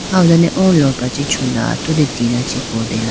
aho done oo lopra chi chula atudi tina chi kotela.